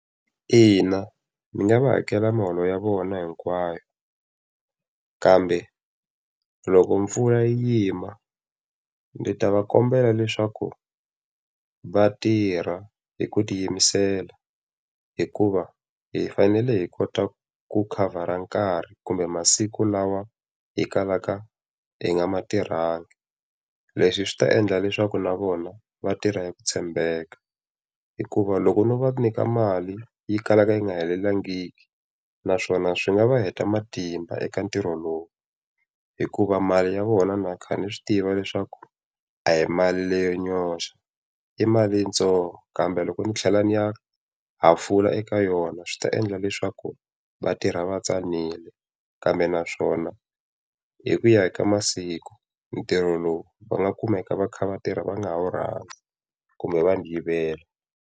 Ina ni nga va hakela muholo ya vona hinkwayo, kambe loko mpfula yi yima ndzi ta va kombela leswaku va tirha hi ku tiyimisela hikuva hi fanele hi kota ku khavhara nkarhi kumbe masiku lawa hi kalaka hi nga ma tirhangi. Leswi swi ta endla leswaku na vona va tirha ya ku tshembeka. Hikuva loko no va nyika mali yo kala yi nga helelangiki, naswona swi nga va heta matimba eka ntirho lowu. Hikuva mali ya vona na kha ni swi tiva leswaku a hi mali leyo nyoxa, i mali yintsongo. Kambe loko ni tlhela ni ya hafula eka yona swi ta endla leswaku va tirha va tsanile. Kambe naswona, hi ku ya hi ka masiku ntirho lowu va nga kumeka va kha va tirha va nga ha wu rhandzi kumbe va ni viyela.